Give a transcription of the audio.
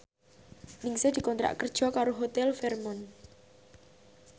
Ningsih dikontrak kerja karo Hotel Fairmont